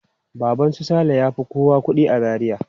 Baban su Saleh ya fi kowa kuɗi a Zaria.